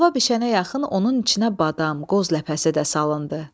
Halva bişənə yaxın onun içinə badam, qoz ləpəsi də salındı.